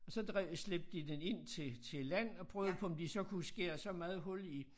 Og så drev slæbte de den ind til til land og prøvede på om de så kunne skære så meget hul i